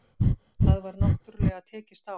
Það var náttúrulega tekist á